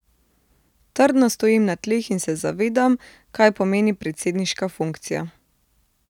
Trdno stojim na tleh in se zavedam, kaj pomeni predsedniška funkcija.